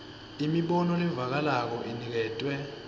imibono levakalako iniketwe